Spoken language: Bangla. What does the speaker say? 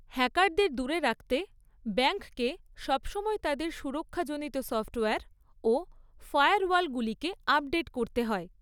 হ্যাকারদের দূরে রাখতে ব্যাংককে সবসময় তাদের সুরক্ষাজনিত সফ্টওয়ার ও ফায়ারওয়ালগুলিকে আপডেট করতে হয়।